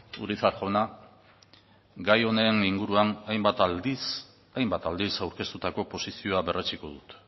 urizar jauna gai honen inguruan hainbat aldiz aurkeztutako posizioa berretsiko dut